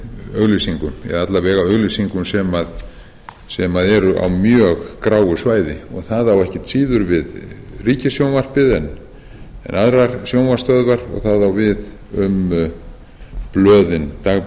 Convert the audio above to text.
auglýsingum eða alla vega auglýsingum sem eru á mjög gráu svæði og það á ekkert síður við ríkissjónvarpið en aðrar sjónvarpsstöðvar og það á við um dagblöðin